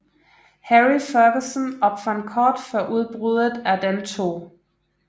Harry Ferguson opfandt kort før udbruddet af den 2